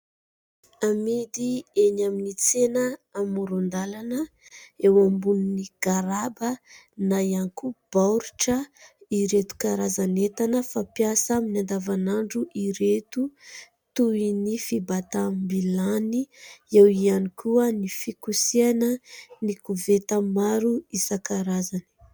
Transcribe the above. Amidy eny amin'ny tsena amoron-dalana eo ambonin'ny garaba na ihany koa baoritra ireto karazan'entana fampiasa amin'ny andavan'andro ireto toy ny fibatam-bilany, eo ihany koa ny fikosehana, ny koveta maro isankarazany.